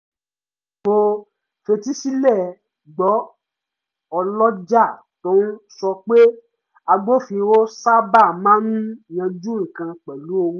mo fetísílẹ̀ gbọ́ ọlọ́jà tó ń sọ pé agbófinró sábà máa ń yánjú nǹkan pẹ̀lú owó